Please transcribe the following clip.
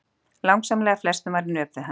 Langsamlega flestum var í nöp við hann.